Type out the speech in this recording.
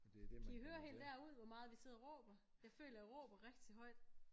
Kan I høre helt derude hvor meget vi sidder og råber jeg føler jeg råber rigtigt højt